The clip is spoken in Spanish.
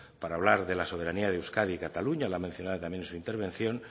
para hablar de la soberanía de euskadi y cataluña la ha mencionado también en su intervención